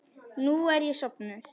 Nú er ég sofnuð.